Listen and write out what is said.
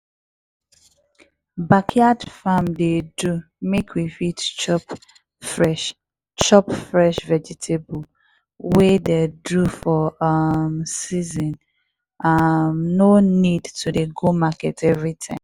backyard farm dey do mek we fit chop fresh chop fresh vegetable wey dey for um season no um need to dey go market every time.